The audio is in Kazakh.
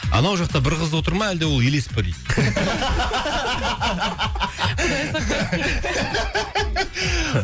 анау жақта бір қыз отыр ма әлде ол елес пе дейді